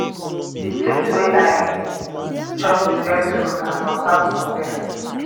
the place wey i chop the best food na for south korea